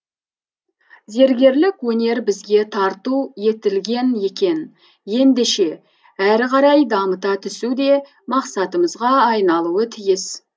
зергерлік өнер бізге тарту етілген екен ендеше әрі қарай дамыта түсу де мақсатымызға айналуы тиіс